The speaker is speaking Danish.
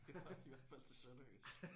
Ja i hvert fald til sønderjysk